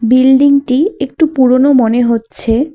বিল্ডিংটি একটু পুরোনো মনে হচ্ছে।